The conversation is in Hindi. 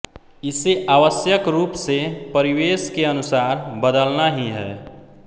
इसे आवश्यक रूप से परिवेश के अनुसार बदलना ही है